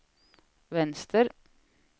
vänster